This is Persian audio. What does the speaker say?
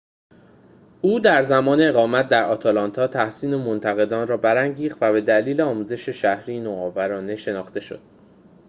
او در زمان اقامت در آتلانتا تحسین منتقدان را برانگیخت و به دلیل آموزش شهری نوآورانه شناخته شد